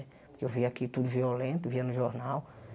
Porque eu via aqui tudo violento, via no jornal.